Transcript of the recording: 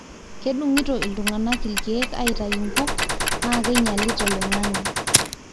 kedungito iltungana ilkiek aitayunye nkuk naa keinyalita oloingange